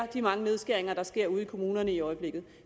de mange nedskæringer der sker ude i kommunerne i øjeblikket